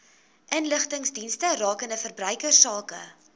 inligtingsdienste rakende verbruikersake